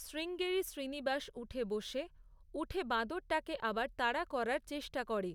শ্রীঙ্গেরি শ্রীনিবাস উঠে বসে, উঠে বাঁদরটাকে আবার তাড়া করার চেষ্টা করে।